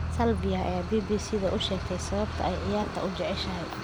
Sylvia ayaa BBC u sheegtay sababta ay ciyaarta u jeceshahay.